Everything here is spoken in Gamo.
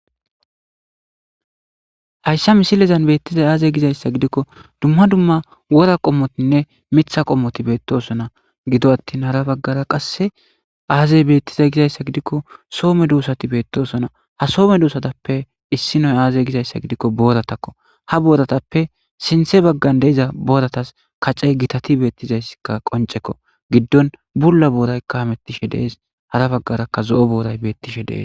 hayssa misilezan beettizay aazey gizayssa gidikko dumma dumma wora qommotinne mitha qommoti beettosona gido attin hara baggara qasse aazey beettizay gizayssa gidikko soome duussati beettosona ha soome duusatappe issinoy aazey gizayssa gidikko booratakko ha booratappe sinthe baggan deiza booratas kacey gitati beettizayssikka qoncekko giddon bulla booraykka hamettishe dees hara baggarakka zo7o booray beettishe dees